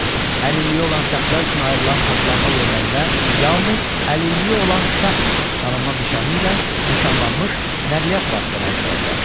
Əlilliyi olan şəxslər üçün ayrılan parklanma yerlərində yalnız əlilliyi olan şəxs tanınma nişanı ilə nişanlanmış nəqliyyat vasitələri dura bilər.